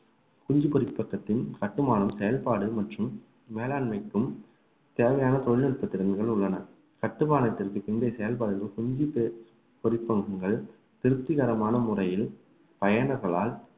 குஞ்சு பொரிப்பகத்தின் கட்டுமானம் செயல்பாடு மற்றும் மேலாண்மைக்கும் தேவையான தொழில்நுட்பத்திறன்கள் உள்ளன கட்டுமானத்திற்கு பின்பே செயல்பாடுகள் குஞ்சு பொரி~ பொரிப்பகங்கள் திருப்திகரமான முறையில் பயனர்களால்